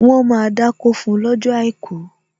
Wọn máa dákó fún lọ́jọ́ àìkú